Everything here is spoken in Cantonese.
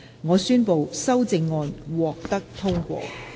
我宣布修正案獲得通過。